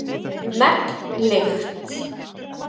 Megn lykt